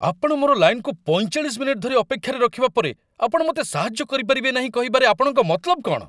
ଆପଣ ମୋର ଲାଇନକୁ ୪୫ ମିନିଟ୍ ଧରି ଅପେକ୍ଷାରେ ରଖିବା ପରେ ଆପଣ ମୋତେ ସାହାଯ୍ୟ କରିପାରିବେ ନାହିଁ କହିବାରେ ଆପଣଙ୍କ ମତଲବ କ'ଣ?